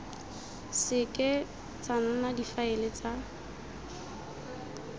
seke tsa nna difaele tsa